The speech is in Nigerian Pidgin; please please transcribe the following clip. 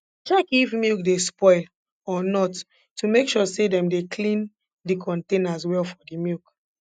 check if milk dey spoil or not to make sure say dem dey clean de containers well for the milk